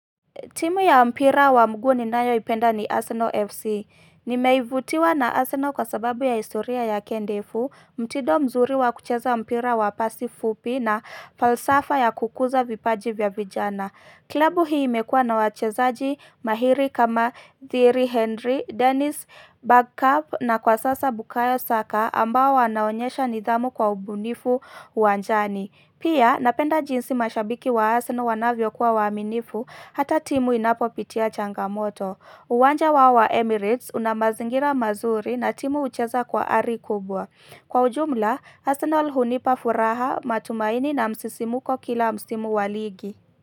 Timu ya mpira wa mguu ni nayoipenda ni Arsenal FC. Nimeivutiwa na Arsenal kwa sababu ya historia yake ndefu, mtido mzuri wa kucheza mpira wa pasi fupi na falsafa ya kukuza vipaji vya vijana. Klabu hii imekua na wachezaji mahiri kama Thiri Henry, Dennis Bergkav na kwa sasa Bukayo Saka ambao wanaonyesha nidhamu kwa ubunifu uwanjani. Pia napenda jinsi mashabiki wa Arsenal wanavyo kuwa waaminifu hata timu inapopitia changamoto. Uwanja wa wa Emirates una mazingira mazuri na timu hucheza kwa ari kubwa. Kwa ujumla, Arsenal hunipa furaha matumaini na msisimko kila msimu wa ligi.